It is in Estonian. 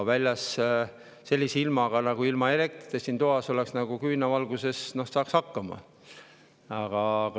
Aga sellise ilmaga ilma elektrita siin toas, noh, küünlavalguses saaks hakkama.